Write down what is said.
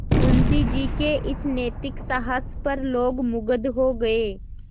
मुंशी जी के इस नैतिक साहस पर लोग मुगध हो गए